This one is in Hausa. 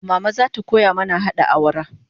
Mama zata koya mana hada awara